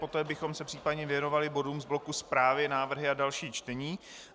Poté bychom se případně věnovali bodům z bloku zprávy, návrhy a další čtení.